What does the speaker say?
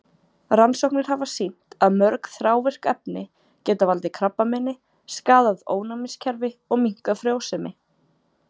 Rannsóknir hafa sýnt að mörg þrávirk efni geta valdið krabbameini, skaðað ónæmiskerfi og minnkað frjósemi.